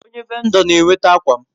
Onye vendo n'eweta akwam